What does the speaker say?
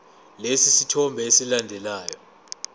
lesi sithombe esilandelayo